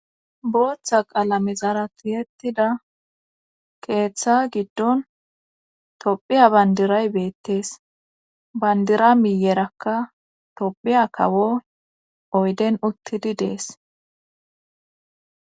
Booththa qalamezara tiyettida keeththa giddon tophiya bandiray beettees bandira miyerakka tophiya kawo oyden uttidi dees.